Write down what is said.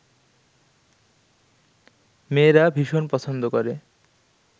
মেয়েরা ভীষণ পছন্দ করে